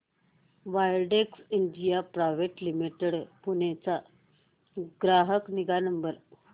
Widex India private limited Pune चा ग्राहक निगा नंबर